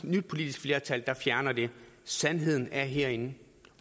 nyt politisk flertal der fjerner den sandheden er herinde